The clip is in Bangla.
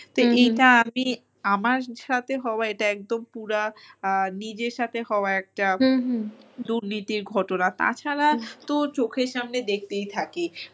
তো এইটা আমি আমার সাথে হওয়া এটা একদম পুরা নিজের সাথে হওয়া একটা দুর্নীতির ঘটনা তাছাড়া তো চোখের সামনে দেখতেই থাকি।